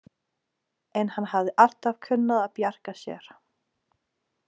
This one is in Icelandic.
En hann hafði alltaf kunnað að bjarga sér.